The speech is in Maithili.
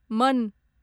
मन